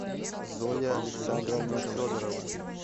зоя александровна федорова